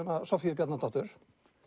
Soffíu Bjarnadóttur